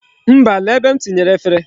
Mba, lee ebe m tinyere efere.